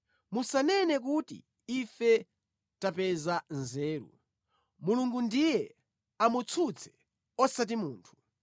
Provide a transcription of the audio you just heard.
Musanene kuti, ‘Ife tapeza nzeru; Mulungu ndiye amutsutse, osati munthu.’